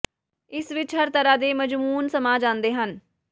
ਇਸ ਵਿੱਚ ਹਰ ਤਰ੍ਹਾਂ ਦੇ ਮਜ਼ਮੂਨ ਸਮਾ ਜਾਂਦੇ ਹਨ